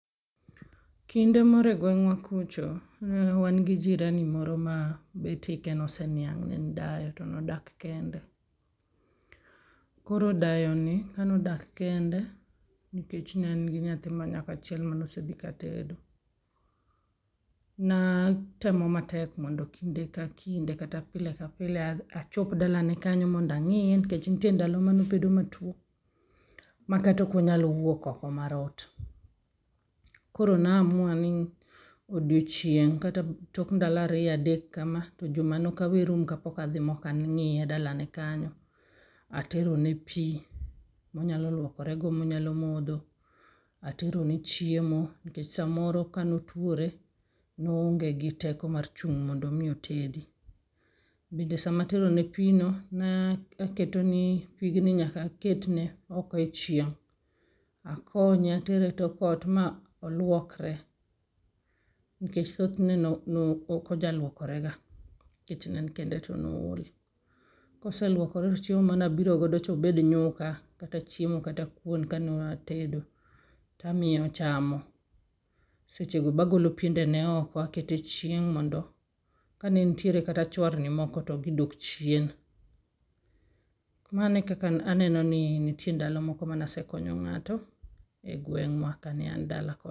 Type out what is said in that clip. Kinde moro e gweng' wa kucho ne wan gi jirani moro ma bet hike oseniang' ne en dayo to nodak kende ,koro dayoni ka nodak kende nikech ne en gi nyadhi ma nyako achiel monose dhi ka tedo na temo matek mondo kinde ka kinde kendo pile ka pile a chop dalane kanyo mondo ang'iye nikech nitie ndalo manobedo matwo mataka okonyal wuok oko mar ot, koro na amua ni odiochieng' kata tok ndalo ariyo adek kama to juma no ok rum ka pok adhi ang'iye dala ne kanyo materone pii monyalo luokore go monyalo modho aterone chiemo samoro ka motuore noong'e gi teko mar chung' mondo mi otedi, bende sama atero ne pii no na keto ne pigno nyaka aket ne oko e chieng' akonye atere e tok ot ma olwokre, nikech thoth ne oknonyal lwokrega nikech ne en kende to nool koseluokore to chiemo manabiro go cha obed nyuka, kata chiemo kata kwon ka newatedo tamiye ochamo seche go be agolo piende ne oko akete chieng' mondo ka nenitie kata chwarni moko to gidok chien mano ekaka eneno ni nitiere ndalo moko manese nakonyo ng'ato e gweng'wa ka ne an dala.